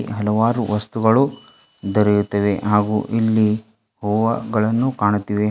ಹಲವಾರು ವಸ್ತುಗಳು ದೊರೆಯುತ್ತವೆ ಹಾಗೂ ಇಲ್ಲಿ ಹೂವಗಳನ್ನು ಕಾಣುತ್ತಿವೆ.